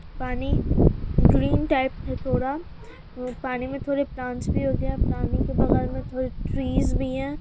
पानी green type है थोड़ा अ पानी में थोड़े प्लांट्स भी उगे हैं पानी के बगल में थोड़े ट्रीज भी है|